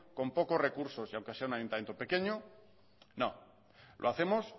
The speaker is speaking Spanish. con pocos recursos y aunque sea un ayuntamiento pequeño no lo hacemos